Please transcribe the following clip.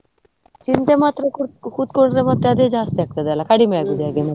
ಚಿಂತೆ ಮಾಡ್ತಾ ಕೂತ್ಕೊಂಡ್ರೆ ಮತ್ತೆ ಅದೇ ಜಾಸ್ತಿ ಆಗ್ತದಲ್ಲ, ಕಡಿಮೆ ಆಗುದು ಮತ್ತೆ?